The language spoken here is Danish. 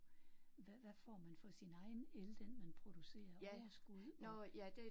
Hvad hvad får man for sin egen el den man producerer overskud og